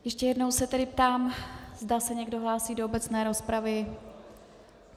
Ještě jednou se tedy ptám, zda se někdo hlásí do obecné rozpravy.